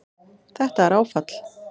Þetta er áfall